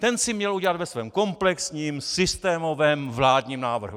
Ten si měl udělat ve svém komplexním, systémovém vládním návrhu!